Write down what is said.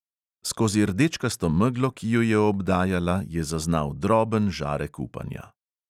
Skozi rdečkasto meglo, ki ju je obdajala, je zaznal droben žarek upanja.